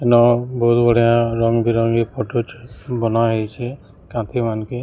N ବହୁତ ବଢିଆ ରଙ୍ଗ ବିରଙ୍ଗି ଫଟୋ ଛସ ବନା ହେଇଚି କଫି ମାନକେ।